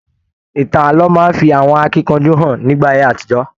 Ìtàn ààlọ́ máa n fí àwọn akínkanjú hàn nígbà ayé àtijọ.